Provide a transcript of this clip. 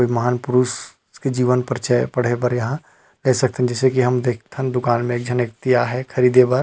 महान परुष के जीवन परिचय पढ़े बर यहाँ देख सकथन जेइसे की हम देखथन दुकान में एक झन व्यक्ति आय हे ख़रीदे बर।